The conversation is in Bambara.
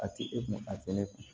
A tɛ e kun a tɛ ne kun